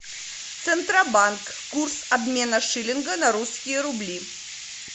центробанк курс обмена шиллинга на русские рубли